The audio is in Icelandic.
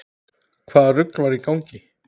Hvaða rugl var í gangi?